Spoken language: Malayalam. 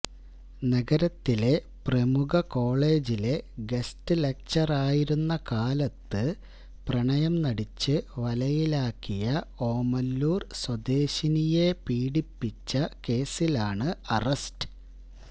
നഗരത്തിലെ പ്രമുഖ കോളജിലെ ഗസ്റ്റ് ലക്ചററര് ആയിരുന്ന കാലത്ത് പ്രണയം നടിച്ചു വലയിലാക്കിയ ഓമല്ലൂര് സ്വദേശിനിയെ പീഡിപ്പിച്ച കേസിലാണ് അറസ്റ്റ്